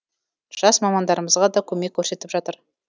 жас мамандарымызға да көмек көрсетіп жатыр